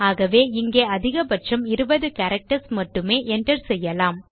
ஆகவே இங்கே அதிகபட்சம் 20 கேரக்டர்ஸ் மட்டுமே enter செய்யலாம்